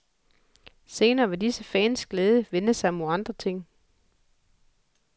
Senere vil alle disse fans glæde vende sig mod andre ting.